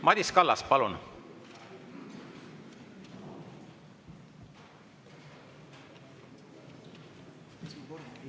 Madis Kallas, palun!